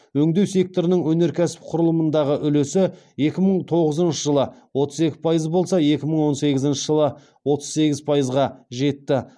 өңдеу секторының өнеркәсіп құрылымындағы үлесі екі мың тоғызыншы жылы отыз екі пайыз болса екі мың он сегізінші жылы отыз сегіз пайызға жетті